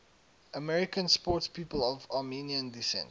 american sportspeople of armenian descent